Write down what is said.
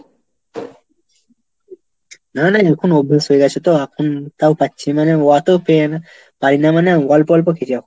না না এখন অভ্যাস হয়ে গেছে তো এখন তাও পাচ্ছি মানে ওতো পেয়ে না, পারি না মানে অল্প অল্প খেয়েছি।